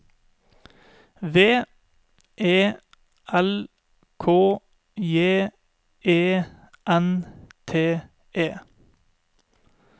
V E L K J E N T E